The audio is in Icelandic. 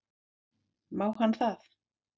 Má hann það?